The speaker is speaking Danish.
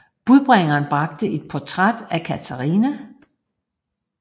Budbringeren bragte et portræt af Katarina